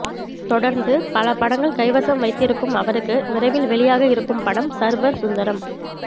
தொடர்ந்து பல படங்களை கைவசம் வைத்திருக்கும் அவருக்கு விரைவில் வெளியாக இருக்கும் படம் சர்வர் சுந்தரம்